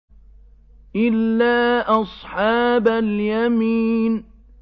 إِلَّا أَصْحَابَ الْيَمِينِ